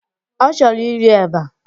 Ọ chọrọ iri eba.